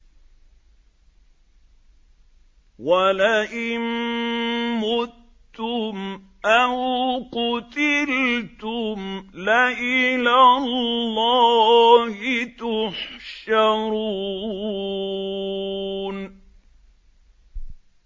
وَلَئِن مُّتُّمْ أَوْ قُتِلْتُمْ لَإِلَى اللَّهِ تُحْشَرُونَ